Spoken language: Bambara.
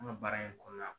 An ka baara in kɔnɔna na